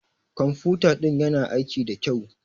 Ƙwamfuta ɗin ƴana aiki ɗa ƙyau.